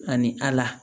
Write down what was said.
Ani ala